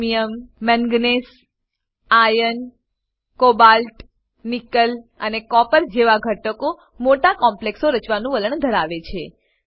chromium manganese iron cobalt nickel અને copper જેવા ઘટકો મોટા કોમ્પ્લેક્સો રચવાનું વલણ ધરાવે છે